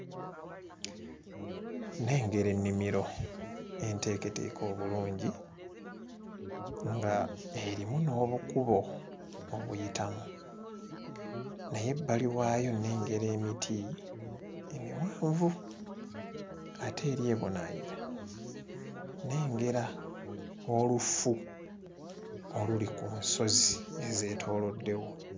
Nnengera ennimiro enteeketeeke obulungi ng'erimu n'obukubo obuyitamu naye ebbali waayo nnengera emiti emiwanvu ate eri ebunaayira nnengera olufu oluli ku nsozi ezeetooloddewo.